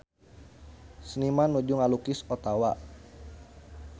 Seniman nuju ngalukis Ottawa